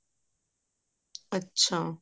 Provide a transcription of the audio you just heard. ਅੱਛਾ